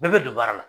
Bɛɛ bɛ don baara la